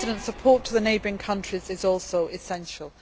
Support to the neighbouring countries is also essential.